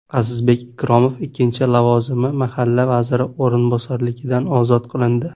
Azizbek Ikromov ikkinchi lavozimi mahalla vaziri o‘rinbosarligidan ozod qilindi.